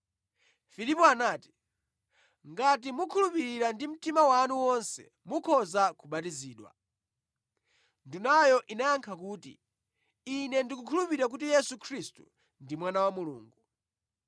Filipo anati, “Ngati mukhulupirira ndi mtima wanu wonse mukhoza kubatizidwa.” Ndunayo inayankha kuti, “Ine ndikukhulupirira kuti Yesu Khristu ndi Mwana wa Mulungu.”